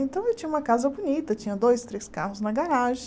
Então, eu tinha uma casa bonita, tinha dois, três carros na garagem.